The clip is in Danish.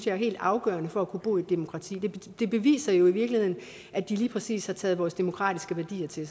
er helt afgørende for at kunne bo i et demokrati det beviser jo i virkeligheden at de lige præcis har taget vores demokratiske værdier til